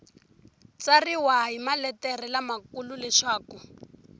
tsariwa hi maletere lamakulu leswaku